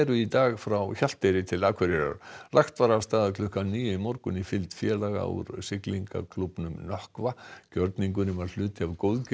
í dag frá Hjalteyri til Akureyrar lagt var af stað klukkan níu í morgun í fylgd félaga úr siglingaklúbbnum Nökkva gjörningurinn var hluti af